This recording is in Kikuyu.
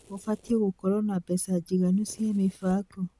Gũbatiĩ gũkorwo na mbeca njiganu cia mĩbango